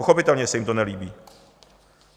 Pochopitelně se jim to nelíbí.